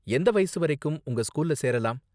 எந்த வயசு வரைக்கும் உங்க ஸ்கூல்ல சேரலாம்?